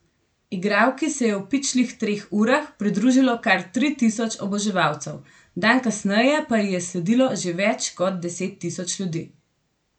Igralki se je v pičlih treh urah pridružilo kar tri tisoč oboževalcev, dan kasneje pa ji je sledilo že več kot deset tisoč ljudi.